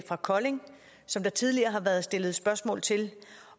fra kolding som der tidligere har været stillet spørgsmål til